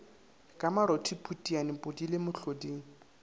ka marothi phutiane podile mohloding